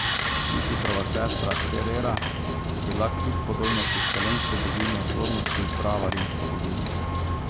Jupitrova sestra Cerera je bila kljub podobnosti s helensko boginjo plodnosti prava rimska boginja.